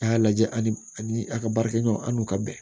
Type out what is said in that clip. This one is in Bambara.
A y'a lajɛ ani a ka baarakɛɲɔgɔn an'u ka bɛn